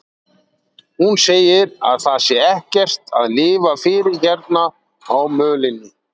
Hún segir að það sé ekkert að lifa fyrir hérna á mölinni.